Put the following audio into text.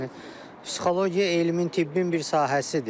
Yəni psixologiya elmin tibbin bir sahəsidir.